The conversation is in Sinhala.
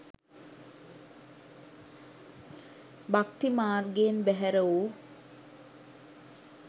භක්ති මාර්ගයෙන් බැහැර වූ